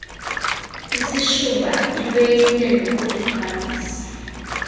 isishuba ilweyile nokuluthwalisa